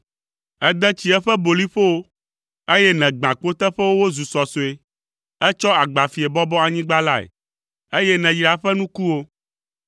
Ède tsi eƒe boliƒowo, eye nègbã kpoteƒewo wozu sɔsɔe. Ètsɔ agbafie bɔbɔ anyigba lae, eye nèyra eƒe nukuwo.